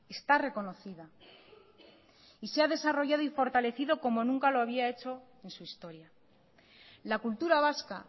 está reconocida y se ha desarrollado y fortalecido como nunca lo había hecho en su historia la cultura vasca